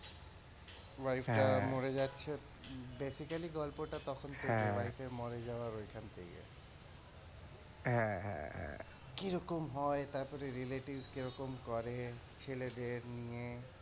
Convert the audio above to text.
wife টা মরে যাচ্ছে basically গল্প টা তখন থেকে wife এর মরে যাওয়া ঐখান থেকে, হ্যাঁ, হ্যাঁ, হ্যাঁ, কিরকম হয়, তারপরে relative কিরকম করে ছেলেদের নিয়ে,